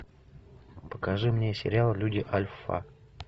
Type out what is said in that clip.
покажи мне сериал люди альфа